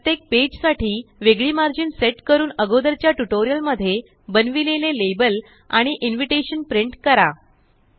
प्रत्येक पेज साठी वेगळी मार्जिन सेट करून अगोदरच्या टयूटोरियल मध्ये बनविलेले लेबल आणि इन्विटेशन प्रिंट करा